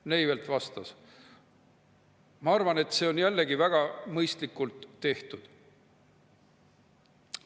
Neivelt vastas: "Ma arvan, et see on jällegi väga mõistlikult tehtud.